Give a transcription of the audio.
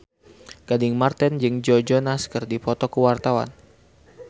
Gading Marten jeung Joe Jonas keur dipoto ku wartawan